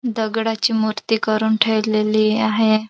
दगडाची मुर्ती करुन ठेवलेली आहे.